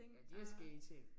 Ja de har skægge ting